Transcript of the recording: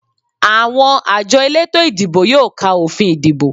Àwọn àjọ elétò ìdìbò yóò ka òfin ìdìbò